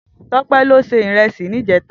Tope ló sé irèsí nijètá